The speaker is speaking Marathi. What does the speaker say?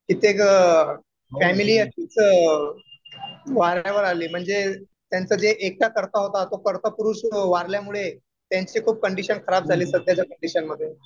कित्येक फॅमिली तर वारण्यावर आली. म्हणजे त्यांचा जो एकटा करता होता तो करता पुरुष वारल्यामुळे त्यांची खूप कंडिशन खराब झाली सध्याच्या कंडिशनमध्ये.